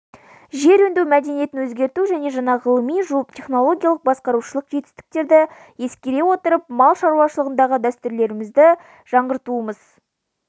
жер өңдеу мәдениетін өзгерту және жаңа ғылыми технологиялық басқарушылық жетістіктерді ескере отырып мал шаруашылығындағы дәстүрлерімізді жаңғыртуымыз